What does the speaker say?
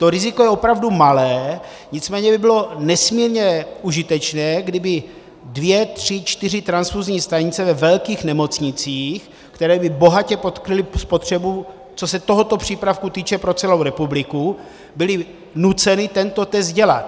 To riziko je opravdu malé, nicméně by bylo nesmírně užitečné, kdyby dvě, tři, čtyři transfuzní stanice ve velkých nemocnicích, které by bohatě pokryly spotřebu, co se tohoto přípravku týče, pro celou republiku, byly nuceny tento test dělat.